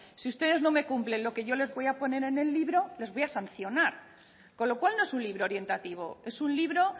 si ustedes no me cumplen lo que yo les voy a poner en el libro les voy a sancionar con lo cual no es un libro orientativo es un libro